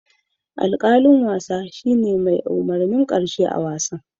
Alkalin wasa shine mai umurnin karshe a'wasan.